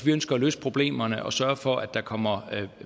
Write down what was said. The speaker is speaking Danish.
vi ønsker at løse problemerne og sørge for at der kommer